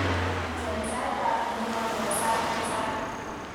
Cheng saitab nguno nebo sait ak sait